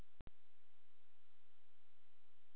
Þau reka litla kristilega sjónvarpsstöð sem ber nafnið Amen.